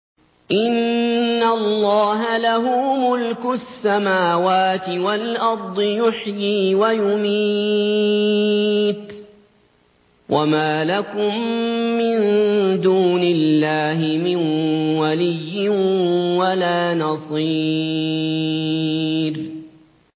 إِنَّ اللَّهَ لَهُ مُلْكُ السَّمَاوَاتِ وَالْأَرْضِ ۖ يُحْيِي وَيُمِيتُ ۚ وَمَا لَكُم مِّن دُونِ اللَّهِ مِن وَلِيٍّ وَلَا نَصِيرٍ